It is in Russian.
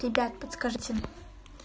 ребят подскажите